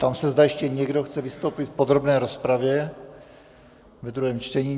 Ptám se, zda ještě někdo chce vystoupit v podrobné rozpravě ve druhém čtení?